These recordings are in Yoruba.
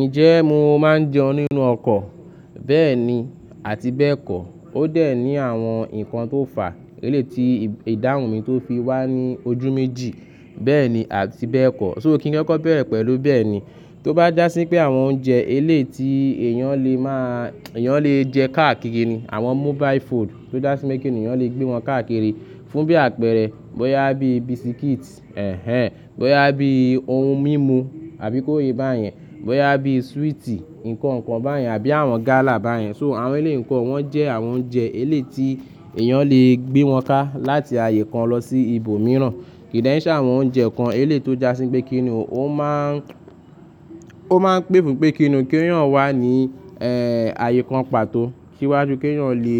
Ǹjẹ́ mo máa ń jẹun nínú ọkọ̀? Bẹ́ẹ̀ni àti bẹ́ẹ̀kọ́. Ó dẹ̀ ní àwọn nǹkan tó fà, eléèti ìdáhùn mi tó fi wá ní ojú méjì, bẹ́ẹ̀ni àti bẹ́ẹ̀kọ́. So kí n kọ́kọ́ bẹ̀rẹ̀ pẹ̀lú bẹ́ẹ̀ni. Tó bá jásí pé àwọn oúnjẹ eléèti èèyàn lè máa, èèyàn lè jẹ káàkiri ni. Àwọn mobile food tó jásí pékí ènìyàn lè gbé wọn káàkiri fún bí àpẹẹrẹ, bóyá bí bisikíìtì, ẹ̀hen, bóyá bí ohun mímu àbí kó ye bá yẹn, bóyá bí swíìtì, nǹkan kan bá yẹn àbí àwọn gálà bá yẹn. So àwọn eléè kan wọ́n jẹ́ àwọn oúnjẹ eléyiti èèyàn lè gbé wọn ká láti ààyè kan lọ sí ibòmíràn. Kì dè n ṣẹ àwọn oúnjẹ kan eléè tó jásí pé kí ni òun máa ń, ó máa ń pè fún un pé kí ni òun kí òun wà ní, ẹ́ẹ́, ààyè kan pàtó kíwá ju kí òun lè,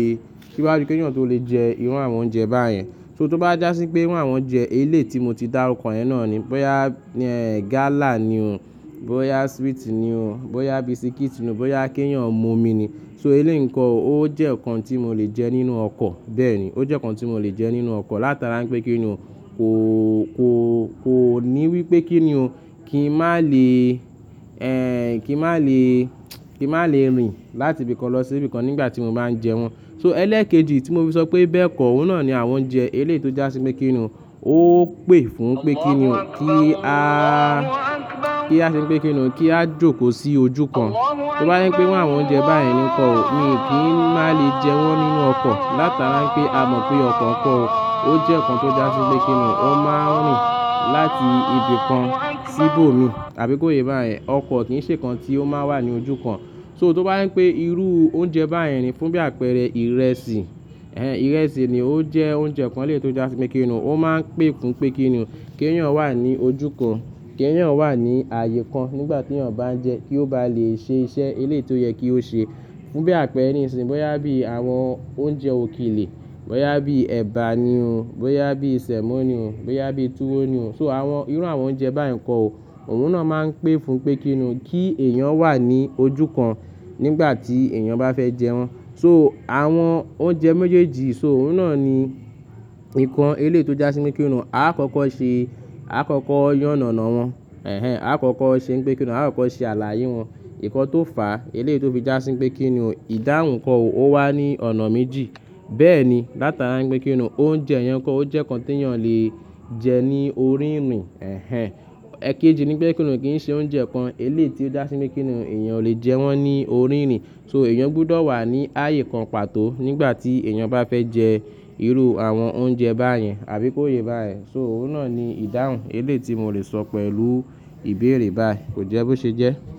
kíwá ju kí òun tó lè jẹ irú àwọn oúnjẹ bá yẹn. So tó bá jásí pé ìru àwọn oúnjẹ eléè tí mo ti dá ọkàn yẹn náà ni, bóyá, gálà ni o, bóyá swíìtì ni o, bóyá bisikíìtì ni o, bóyá kí òun mu omi ni. So elèyi nko ò ó jẹ́ nǹkan tí mo lè jẹ nínú ọkọ̀, bẹ́ẹ̀ni. Ó jẹ́ nǹkan tí mo lè jẹ nínú ọkọ̀ látara pé kí ni ó kò, kò, kò ní wí pé kí ni o, kí n má lè, ẹ́ẹ́, kí n má lè, kí n má lè rìn láti ibìkan lọ sí ibìkan nígbà tí mo bá ń jẹ wọ́n. So ẹlẹ́ẹ̀kejì tí mo fi sọ pé bẹ́ẹ̀kọ́, òun náà ni àwọn oúnjẹ elèyi tó jásí pé kí ni òun ó pè fún un pé kí ni òun kí a, kí a se pé kí ni òun kí a jókòó sí ojú kan. Tó bá rí pé ìwọ àwọn oúnjẹ bá yẹn nìkan ò, mi kì í má lè jẹ wọ́n nínú ọkọ̀ látara pé a mọ̀ pé ọkọ̀ kan ò, ó jẹ́ nǹkan tó jásí pé kí ni òun ó máa ń rìn láti ibìkan sí ibò mi àbí kó ye bá yẹn. Ọkọ̀ kìí ṣe nǹkan tí ó máa wà ní ojú kan. So tó bá rí pé irú oúnjẹ bá yẹn ni fún bí àpẹẹrẹ ìrẹsì, ìrẹsì ni ó jẹ́ oúnjẹ kan eléè tó jásí pé kí ni òun ó máa ń pè fún un pé kí ni ò kí eyan wà ní ojú kan, kí òun wà ní ààyè kan nígbà tí òun bá ń jẹ kí ó ba lè ṣe iṣẹ́ eléè tí ó yẹ kí ó ṣe. Fún bí àpẹẹrẹ nìṣìnsìnyí, bóyá bí àwọn oúnjẹ òkèlè, bóyá bí ẹ̀bà ni o, bóyá bí sẹ̀mó ni o, bóyá bí túwó ni o. So àwọn, irú àwọn oúnjẹ bá yẹn nko ò, òun náà máa ń pè fún un pé kí ni ò kí èèyàn wà ní ojú kan nígbà tí èèyàn bá fẹ́ jẹ wọ́n. So àwọn oúnjẹ méjèèjì, so òun náà ni nǹkan eléyi tó jásí pé kí ni ò, a kọ́kọ́ ṣe, a kọ́kọ́ yán nàna wọn. Ẹ̀hen, a kọ́kọ́ ṣe pé kí ni òun, a kọ́kọ́ ṣe ààlàayé wọn. Nkan tó fà, eleyi tí ó fi jásí pé kí ni ò ìdáhùn kan ò, ó wà ní ọ̀nà méjì. Bẹ́ẹ̀ni látara pé kí ni ò oúnjẹ ìyẹn kan ò, ó jẹ́ nǹkan tí èèyàn lè jẹ ní orí ìrìn, Ẹ̀kejì nípẹ́ kí ni ò kìí ṣe oúnjẹ kan eléyi tí ó jásí pé kí ni ò èèyàn lè jẹ wọ́n ní orí ìrìn. So èèyàn gbọdọ̀ wà ní ààyè kan pàtó nígbà tí èèyàn bá fẹ́ jẹ irú àwọn oúnjẹ bá yẹn àbí kó ye bá yẹn. So òun náà ni ìdáhùn eléyi tí mò lè sọ pẹ̀lú ìbéèrè báyìí. Kò jẹ́ bó ṣe jẹ́?